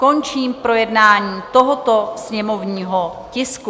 Končím projednání tohoto sněmovního tisku.